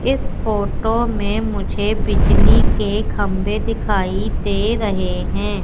इस फोटो में मुझे बिजली के खंभे दिखाई दे रहे हैं।